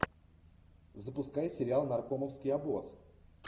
запускай сериал наркомовский обоз